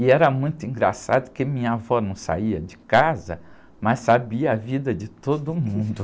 E era muito engraçado que minha avó não saía de casa, mas sabia a vida de todo mundo.